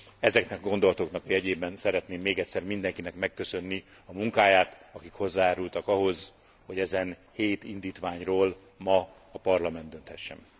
Ezeknek a gondolatoknak a jegyében szeretném még egyszer mindenkinek megköszönni a munkáját, akik hozzájárultak ahhoz, hogy ezen hét indítványról ma a Parlament dönthessen.